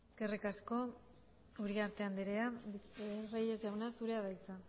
eskerrik asko uriarte andrea reyes jauna zurea da hitza